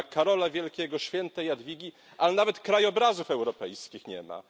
Nie ma Karola Wielkiego, świętej Jadwigi, ale nawet krajobrazów europejskich nie ma.